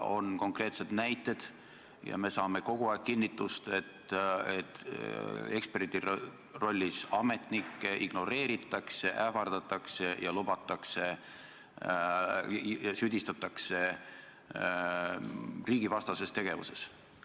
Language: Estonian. On konkreetsed näited ja me saame kogu aeg kinnitust, et eksperdi rollis ametnikke ignoreeritakse, ähvardatakse ja lubatakse süüdistada riigivastases tegevuses.